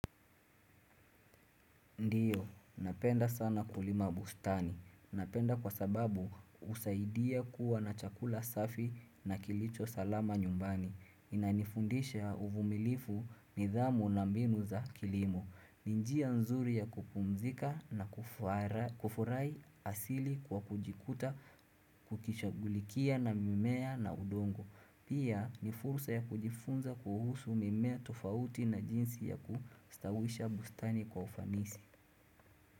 Ndiyo, napenda sana kulima bustani. Napenda kwa sababu husaidia kuwa na chakula safi na kilicho salama nyumbani. Inanifundisha uvumilifu nidhamu na mbinu za kilimo. Ni njia nzuri ya kupumzika na kufurahi asili kwa kujikuta kukishagulikia na mimea na udongo. Pia ni fursa ya kujifunza kuhusu mimea tofauti na jinsi ya kustawisha bustani kwa ufanisi.